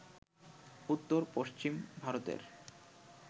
উত্তর-পশ্চিম ভারতের